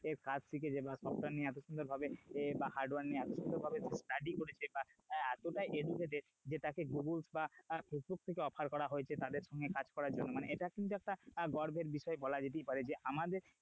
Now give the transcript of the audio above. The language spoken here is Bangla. কাজ শিখেছে বা software নিয়ে এত সুন্দর ভাবে বা hardware নিয়ে এতো সুন্দর ভাবে study করেছে বা আহ এতটা educated যে তাকে google বা facebook থেকে offer করা হয়েছে তাদের সঙ্গে কাজ করার জন্য মানে এটা কিন্তু একটা গর্বের বিষয় বলাই যেতে পারে যে আমাদের,